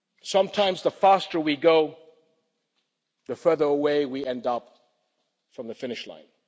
Sometimes, the faster we go, the farther away we end up from the finish line.